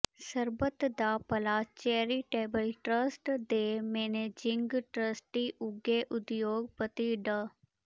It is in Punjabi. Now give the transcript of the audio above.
ਸਰਬੱਤ ਦਾ ਭਲਾ ਚੈਰੀਟੇਬਲ ਟਰੱਸਟ ਦੇ ਮੈਨੇਜਿੰਗ ਟਰੱਸਟੀ ਉੱਘੇ ਉਦਯੋਗਪਤੀ ਡਾ